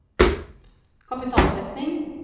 kapitaldekning